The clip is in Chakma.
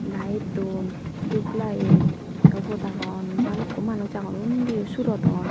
lite don dup lite tey obot agon balukho manus agon undiyo surodon.